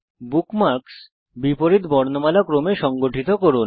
bookmarks বিপরীত বর্ণমালা ক্রমে সংগঠিত করুন